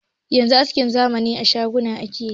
Yanzu askin zamani a shaguna ake yi.